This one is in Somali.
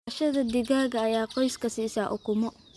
Dhaqashada digaaga ayaa qoyska siisa ukumo.